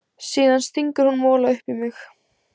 Síðan stingur hún mola upp í mig.